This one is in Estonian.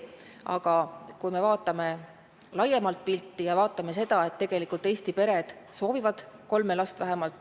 Aga vaatame laiemat pilti, vaatame seda, et tegelikult Eesti pered soovivad kolme last vähemalt.